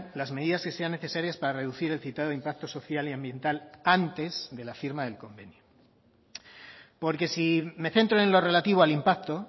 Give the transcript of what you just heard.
las medidas que sean necesarias para reducir el citado impacto social y ambiental antes de la firma del convenio porque si me centro en lo relativo al impacto